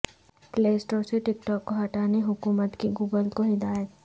پلے store سے TikTok کو ہٹانے حکومت کی گوگل کو ہدایت